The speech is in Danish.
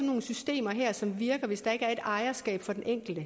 nogle systemer her som virker hvis der ikke er et ejerskab for den enkelte